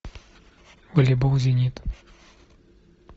волейбол зенит